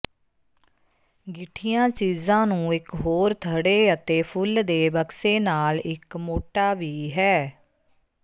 ਗਿੱਠੀਆਂ ਚੀਜ਼ਾਂ ਨੂੰ ਇੱਕ ਹੋਰ ਥੜ੍ਹੇ ਅਤੇ ਫੁੱਲ ਦੇ ਬਕਸੇ ਨਾਲ ਇੱਕ ਮੋਟਾ ਵੀ ਹੈ